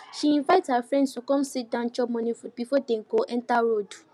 she invite her friends to come sit down chop morning food before them go enter road